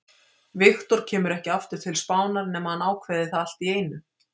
Victor kemur ekki aftur til Spánar nema hann ákveði það allt í einu.